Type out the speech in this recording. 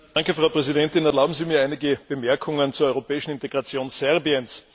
Frau Präsidentin! Erlauben Sie mir einige Bemerkungen zur europäischen Integration Serbiens.